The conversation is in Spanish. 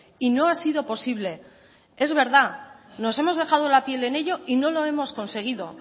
y no ha sido posible es verdad nos hemos dejado la piel en ello y no lo hemos conseguido